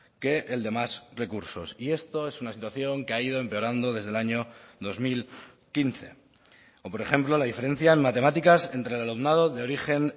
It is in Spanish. que el de más recursos y esto es una situación que ha ido empeorando desde el año dos mil quince o por ejemplo la diferencia en matemáticas entre el alumnado de origen